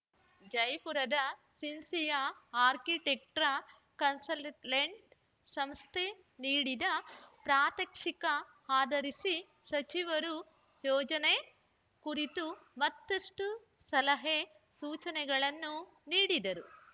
ಜೈಪುರದ sincere architect consultant ಸಂಸ್ಥೆ ನೀಡಿದ ಪ್ರಾತ್ಯಕ್ಷಿಕ ಆಧರಿಸಿ ಸಚಿವರು ಯೋಜನೆ ಕುರಿತು ಮತ್ತಷ್ಟುಸಲಹೆ ಸೂಚನೆಗಳನ್ನು ನೀಡಿದರು